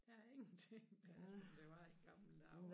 Der ingenting det var som i gamle dage